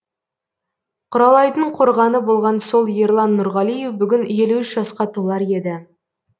құралайдың қорғаны болған сол ерлан нұрғалиев бүгін елу үш жасқа толар еді